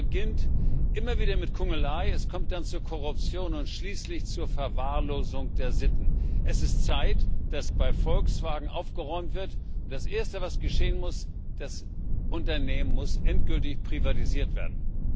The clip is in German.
raus. Es beginnt immer wieder mit Kungelei, es kommt dann zur Korruption und schließlich zur Verwahrlosung der Sitten. Es ist Zeit, dass bei Volkswagen aufgeräumt wird. Das Erste, was geschehen muss Das Unternehmen muss endgültig privatisiert werden.